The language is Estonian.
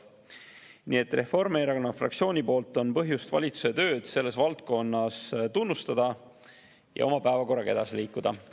Nii et Reformierakonna fraktsiooni on põhjust valitsuse tööd selles valdkonnas tunnustada ja oma päevakorraga edasi liikuda.